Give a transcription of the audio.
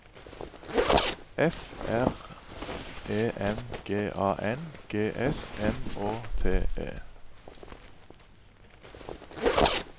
F R E M G A N G S M Å T E